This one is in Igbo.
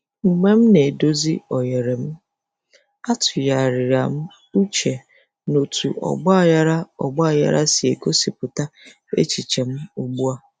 Mgbe m na-edozi oghere m, atụgharịra m uche n'otú ọgbaghara ọgbaghara si egosipụta echiche m ugbu a.